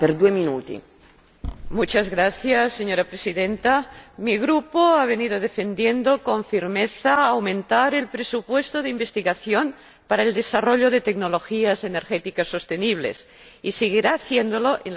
Señora Presidenta, mi Grupo ha venido defendiendo con firmeza aumentar el presupuesto de investigación para el desarrollo de tecnologías energéticas sostenibles, y seguirá haciéndolo en las negociaciones del próximo Programa marco.